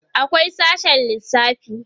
akwai sashe lissafi